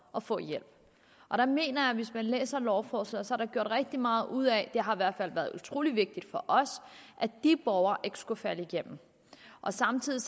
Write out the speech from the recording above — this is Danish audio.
at få hjælp og der mener jeg hvis man læser lovforslaget at der er gjort rigtig meget ud af det har i hvert fald været utrolig vigtigt for os at de borgere ikke skulle falde igennem og samtidig